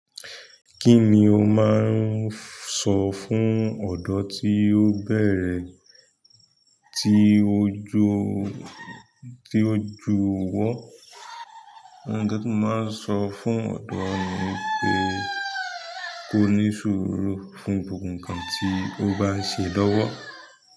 Kí ni o máa ń ṣọ fún ọ̀dọ́ tí ó bẹ̀rẹ̀ tí o ju, tí ó ju ìwọ? Nǹkan tí mo máa ń sọ fún ọdọ ni wípé kò ní sùúrù fún gbogbo nǹkan tí o baa ń ṣe lọ́wọ́.